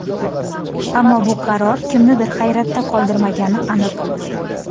Ammo bu qaror kimnidir hayratda qoldirmagani aniq.